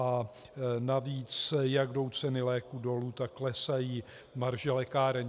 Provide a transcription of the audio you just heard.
A navíc, jak jdou ceny léků dolů, tak klesají marže lékáren.